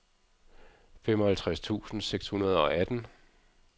femoghalvtreds tusind seks hundrede og atten